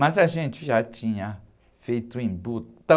Mas a gente já tinha feito o Embu tão...